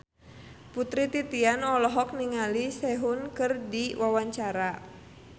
Putri Titian olohok ningali Sehun keur diwawancara